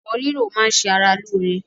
Ẹ̀fọ́ rírò máá ń ṣe ara lóore.